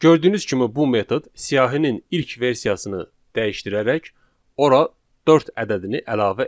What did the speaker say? Gördüyünüz kimi bu metod siyahının ilk versiyasını dəyişdirərək ora dörd ədədini əlavə etdi.